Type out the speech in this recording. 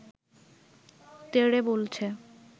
তেড়ে বলছে